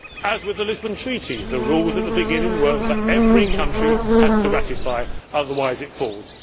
Also with the Lisbon Treaty, the rules at the beginning were that every country has to ratify, otherwise it falls.